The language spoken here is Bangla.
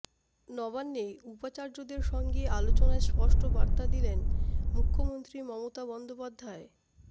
নবান্নে উপাচার্যদের সঙ্গে আলোচনায় স্পষ্ট বার্তা দিলেন মুখ্যমন্ত্রী মমতা বন্দ